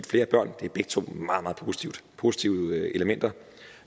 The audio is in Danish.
flere børn begge to er meget meget positive elementer